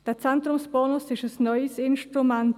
Der Zentrumsbonus ist ein neues Instrument.